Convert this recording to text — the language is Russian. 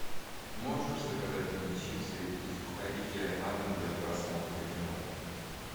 можешь заказать мне чипсы и сухарики на дом для просмотра кино